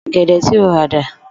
Ò̩gè̩dè̩ tí o rà dà?